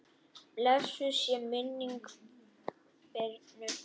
Blessuð sé minning Birnu.